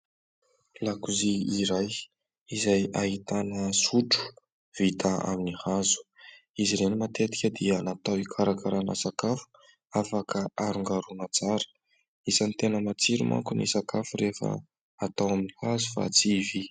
Lakozia iray izay ahitana sotro vita amin'ny hazo. Izy ireny matetika dia natao ikarakarana sakafo afaka arongaroana tsara. Isany tena matsiro manko ny sakafo rehefa atao amin'ny hazo fa tsy vy.